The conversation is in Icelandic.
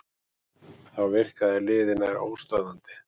Þá virkaði liðið nær óstöðvandi